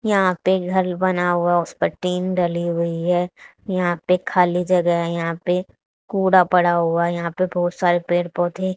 यहां पे घर बना हुआ उसपे टीन डली हुई हैं यहां पे खाली जगह हैं यहां पे कूड़ा पड़ा हुआ हैं यहां पे बहोत सारे पेड़ पौधे--